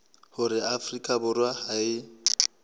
hore afrika borwa ha e